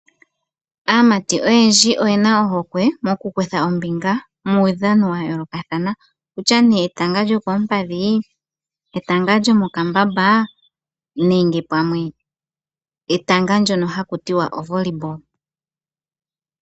Aamati oyendji oyena ohokwe moku kutha ombinga muudhano wa yoolokathana okutya nee etanga lyo koompadhi, etanga lyo mokambamba nenge pamwe etanga ndyono haku tiwa ovolley ball.